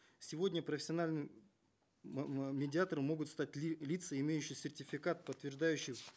сегодня профессиональным медиатором могут стать лица имеющие сертификат подтверждающий